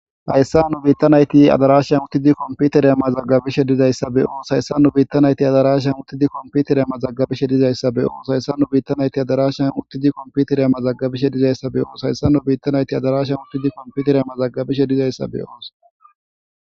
Hayssa nu biiththa na7ithi adaaraashan uththidi komppitheriya mazagabishe dizayssa be7oos; Hayssan nu biiththa na7ithi adaaraashan uththidi komppitheriya mazagabishe dizayssa be7oos; Hayssan nu biiththa na7ithi adaaraashan uththidi komppitheriya mazagabishe dizayssa be7oos; Hayssan nu biiththa na7ithi adaaraashan uththidi komppitheriya mazagabishe dizayssa be7oos.